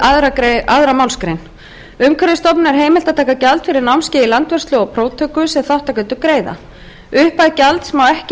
aðra málsgrein umhverfisstofnun er heimilt að taka gjald fyrir námskeið í landvörslu og próftöku sem þátttakendur greiða upphæð gjalds má ekki